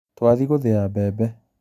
Twathiĩ gũthiĩ mbembe